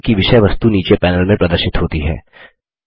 mail की विषय वस्तु नीचे पैनल में प्रदर्शित होती है